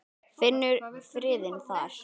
Finnur friðinn þar.